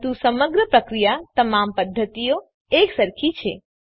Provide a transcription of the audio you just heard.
પરંતુ સમગ્ર પ્રક્રિયા તમામ પદ્ધતિઓમાં એકસરખી છે